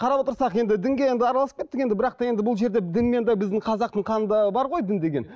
қарап отырсақ енді дінге енді араласып кеттік енді бірақ та енді бұл жерде дінмен де біздің қазақтың қанында бар ғой дін деген